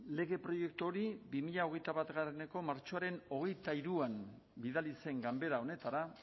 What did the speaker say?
lege proiektu hori bi mila hogeita bateko martxoaren hogeita hiruan bidali zen ganbera honetara